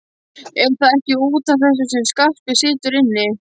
Er það ekki út af þessu sem Skarpi situr inni?